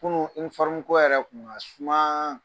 Kunun ko yɛrɛ kun ŋa sumaan.